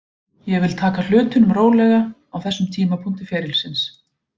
Ég vil taka hlutunum rólega á þessum tímapunkti ferilsins.